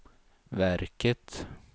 verket